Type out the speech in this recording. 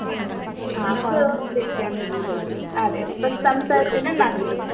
അതെ അങ്ങനെ വന്ന് കൊണ്ടിരിക്കുകയാണ് റിയൽ ആയിട്ട്